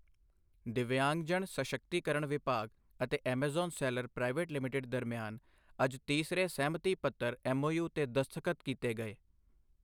ਦਿੱਵਿਯਾਂਗਜਨ ਸਸ਼ਕਤੀਕਰਣ ਵਿਭਾਗ ਅਤੇ ਐਮਾਜ਼ੋਨ ਸੈਲਰ ਪ੍ਰਾਈਵੇਟ ਲਿਮਿਟੇਡ ਦਰਮਿਆਨ ਅੱਜ ਤੀਸਰੇ ਸਹਿਮਤੀ ਪੱਤਰ ਐੱਮਓਯੂ ਤੇ ਦਸਤਖਤ ਕੀਤੇ ਗਏ।